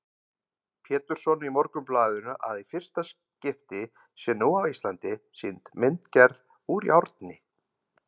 Pétursson í Morgunblaðinu að í fyrsta skipti sé nú á Íslandi sýnd myndgerð úr járni.